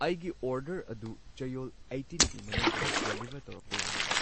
ꯑꯩꯒꯤ ꯑꯣꯔꯗꯔ ꯑꯗꯨ ꯆꯌꯣꯜ ꯑꯩꯇꯤꯟꯒꯤ ꯃꯅꯨꯡꯗ ꯗꯦꯂꯤꯕꯔ ꯇꯧꯔꯛꯄ ꯌꯥꯒꯗ꯭ꯔ?